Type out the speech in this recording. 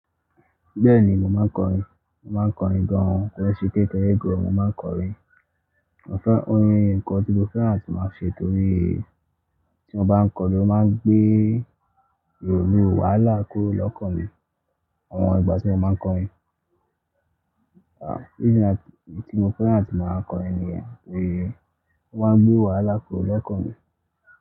Bẹ́ẹ̀ni, mo máa ń kọrin. Mo máa ń kọrin gán, ko n ṣe pe de de, mo máa ń kọrin. Mo fẹ́, orin nǹkan tí mo fẹ́ràn tí máa ṣe torí tí mo bá ń kọrin, ó máa ń gbé ìrònú, wàhálà kúrò lọ́kàn mi. Àwọn ìgbà tí mo máa ń kọrin, ah, ìdí yen tí mo fẹ́ràn tí máa ń kọrin ni yen pé ó máa ń gbé wàhálà kúrò lọ́kàn mi.